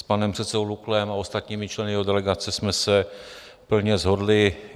S panem předsedou Luklem a ostatními členy jeho delegace jsme se plně shodli.